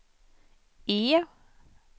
E